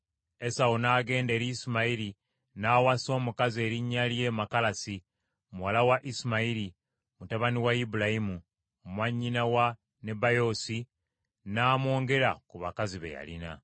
Esawu n’agenda eri Isimayiri n’awasa omukazi erinnya lye Makalasi, muwala wa Isimayiri, mutabani wa Ibulayimu, mwannyina wa Nebayoosi, n’amwongera ku bakazi be yalina.